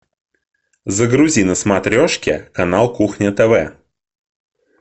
загрузи на смотрешке канал кухня тв